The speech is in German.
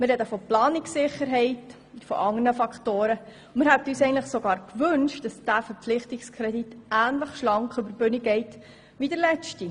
Wir sprechen von Planungssicherheit und anderen Faktoren, und wir hätten uns gewünscht, dass dieser Verpflichtungskredit ähnlich schlank über die Bühne geht, wie der letzte.